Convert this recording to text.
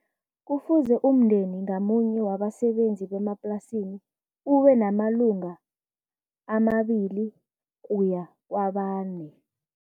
Kufuze umndeni ngamunye wabasebenzi bemaplasini ube namalunga amabili kuya kwabane.